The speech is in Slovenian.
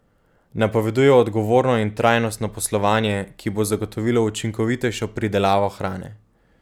Napoveduje odgovorno in trajnostno poslovanje, ki bo zagotovilo učinkovitejšo pridelavo hrane.